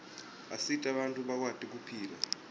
asita bantfu bakwati kuphila